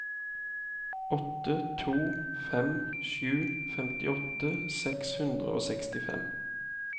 åtte to fem sju femtiåtte seks hundre og sekstifem